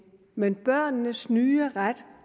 men børnenes nye ret